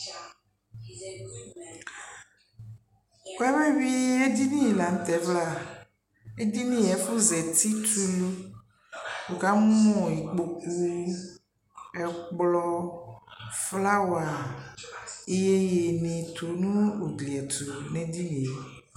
wabe wui edeni la tɛ vla edini ɛfu zati t' ulu wu ka mu ikpoku ɛkplɔ flawa yeye ni tu n'ugliɛ tu n'edinie